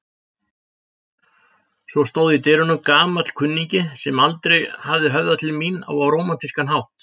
Svo stóð í dyrunum gamall kunningi sem aldrei hafði höfðað til mín á rómantískan hátt.